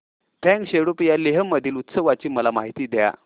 फ्यांग सेडुप या लेह मधील उत्सवाची मला माहिती द्या